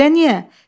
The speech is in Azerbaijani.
Elə niyə?